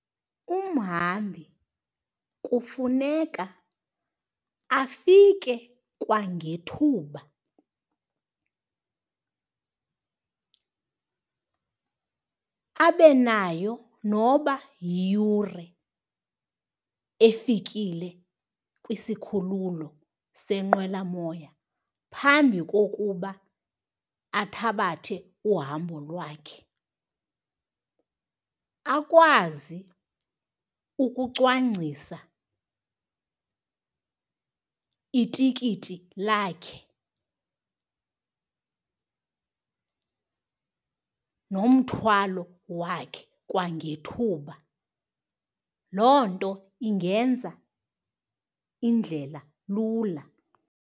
Umhambi kufuneka afike kwangethuba, abe nayo noba yiyure efikile kwisikhululo senqwelamoya phambi kokuba athabathe uhambo lwakhe, akwazi ukucwangcisa itikiti lakhe nomthwalo wakhe kwangethuba. Loo nto ingenza indlela lula.